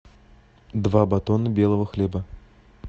два батона белого хлеба